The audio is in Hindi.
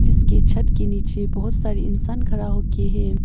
इसके छत के नीचे बहुत सारी इंसान खड़ा हो के है।